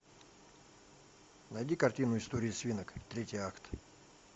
найди картину истории свинок третий акт